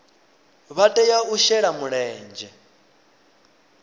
vha tea u shela mulenzhe